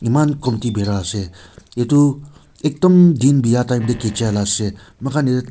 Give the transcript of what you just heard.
eman komti bira ase edu ekdum din biya time tae khicha la ase mokhan--